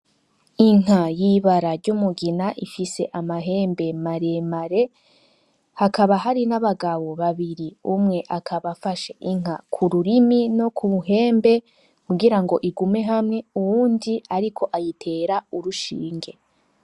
Inka y' ibara ry' umugina ifise amahembe mare mare hakaba hari n' abagabo babiri umwe akaba afashe inka kururimi no kumuhembe kugira ngo igume hamwe uyundi ariko ayitera urushinge